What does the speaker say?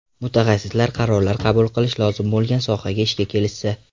Mutaxassislar qarorlar qabul qilish lozim bo‘lgan sohaga ishga kelishsa.